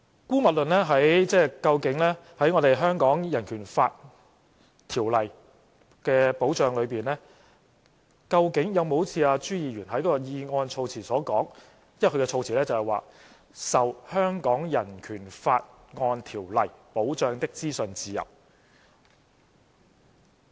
姑勿論在《香港人權法案條例》的保障裏，究竟有沒有好像朱議員在議案措辭所說的保障，因為他所用的措辭是"受《香港人權法案條例》保障的資訊自由"。